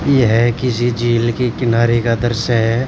यह किसी झील के किनारे का दृश्य है।